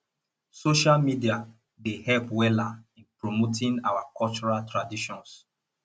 social media dey help weller in promoting our cultural traditions